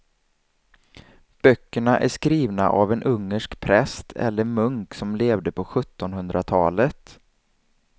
Böckerna är skrivna av en ungersk präst eller munk som levde på sjuttonhundratalet.